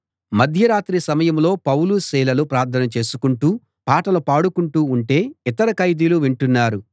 మధ్యరాత్రి సమయంలో పౌలు సీలలు ప్రార్థన చేసుకుంటూ పాటలు పాడుకుంటూ ఉంటే యితర ఖైదీలు వింటున్నారు